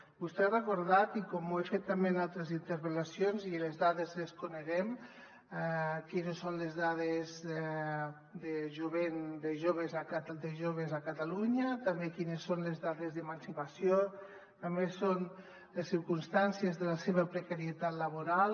vostè ha recordat i com ho he fet també en altres interpel·lacions les dades les coneixem quines són les dades de jovent de joves a catalunya també quines són les dades d’emancipació també les circumstàncies de la seva precarietat laboral